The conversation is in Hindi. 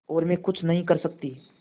और मैं कुछ नहीं कर सकती